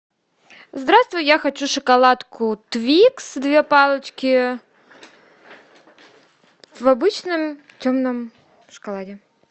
здравствуй я хочу шоколадку твикс две палочки в обычном темном шоколаде